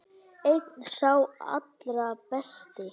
Einn sá allra besti.